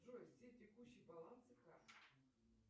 джой все текущие балансы карт